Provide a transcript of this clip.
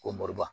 Ko moriba